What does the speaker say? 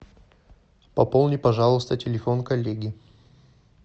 пополни пожалуйста телефон коллеги